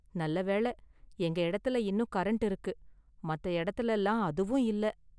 நல்ல வேள, எங்க இடத்துல இன்னும் கரண்ட் இருக்கு, மத்த எடத்துலலெல்லாம் அதுவும் இல்ல.